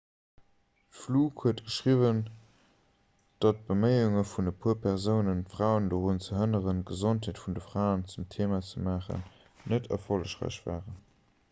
d'fluke huet geschriwwen datt d'beméiunge vun e puer persounen d'fraen dorun ze hënneren d'gesondheet vun de fraen zum theema ze maachen net erfollegräich waren